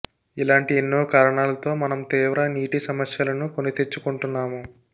ఇలాంటి ఎన్నో కారణాలతో మనం తీవ్ర నీటి సమస్యలను కొని తెచ్చుకుంటున్నాము